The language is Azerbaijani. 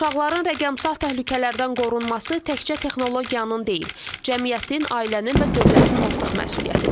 Uşaqların rəqəmsal təhlükələrdən qorunması təkcə texnologiyanın deyil, cəmiyyətin, ailənin və dövlətin ortaq məsuliyyətidir.